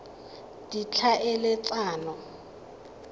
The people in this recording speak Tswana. ditlhaeletsano